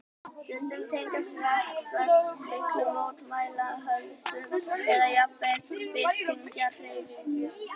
Stundum tengjast verkföll miklum mótmælaöldum eða jafnvel byltingarhreyfingum.